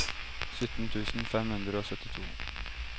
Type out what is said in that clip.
sytten tusen fem hundre og syttito